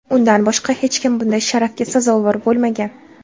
Undan boshqa hech kim bunday sharafga sazovor bo‘lmagan.